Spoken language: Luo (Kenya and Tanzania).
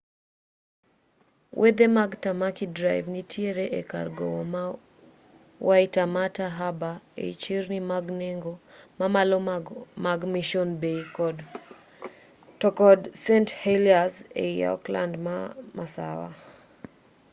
wedhe mag tamaki drive nitiere e kar gowo ma waitemata harbour ei chirni mag nengo mamalo mag mission bay to kod st heliers ei auckland ma masawa